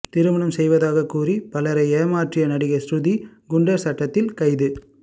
திருமணம் செய்வதாக கூறி பலரை ஏமாற்றிய நடிகை ஸ்ருதி குண்டர் சட்டத்தில் கைது